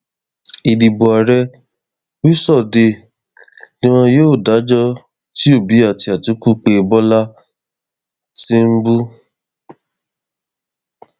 ìdìbò ààrẹ wíṣọdẹẹ ni wọn yóò dájọ tí òbí àti àtìkù pé bọlá tìǹbù